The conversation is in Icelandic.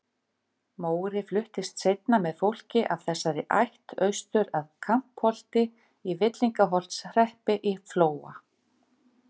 Móri fluttist seinna með fólki af þessari ætt austur að Kampholti í Villingaholtshreppi í Flóa.